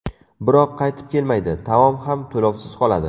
Biroq, qaytib kelmaydi, taom ham to‘lovsiz qoladi.